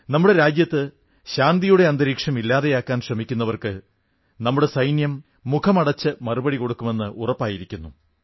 നമ്മുടെ രാജ്യത്ത് ശാന്തിയുടെ അന്തരീക്ഷം ഇല്ലാതെയാക്കാൻ ശ്രമിക്കുന്നവർക്ക് നമ്മുടെ സൈന്യം മുഖമടച്ച് മറുപടി കൊടുക്കുമെന്ന് ഉറപ്പായിരിക്കുന്നു